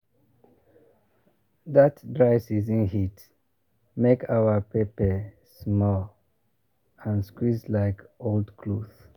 that dry season heat make our pepper small and squeeze like old cloth.